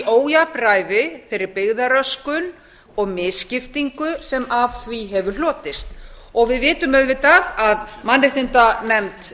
ójafnræði þeirri byggðaröskun og misskiptingu sem af því hefur hlotist við vitum auðvitað að mannréttindanefnd